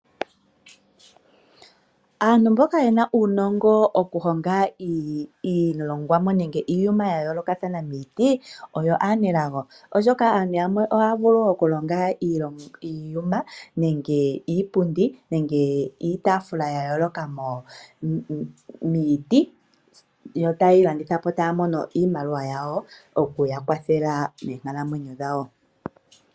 Aantu mboka ye na uunongo , okuhonga iilongwamo nenge iiyuma ya yoolokathana miiti, oyo aanelago, oshoka aantu yamwe ohaya vulu okulonga iiyuma nenge iipundi nenge iitafula ya yooloka momiti yo tayeyi landitha po taya mono iimaliwa yawo okuya kwathela meenkalamwenyo dhawo.